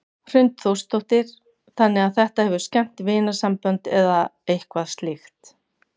Hrund Þórsdóttir: Þannig að þetta hefur skemmt vinasambönd eða eitthvað slíkt?